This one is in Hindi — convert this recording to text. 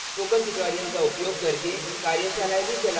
spoken tutorials का उपयोग करके कार्यशालाएँ भी चलाते हैं